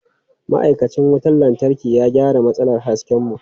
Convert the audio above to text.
Ma'aikacin wutar lantarki ya gyara matsalar hasken mu.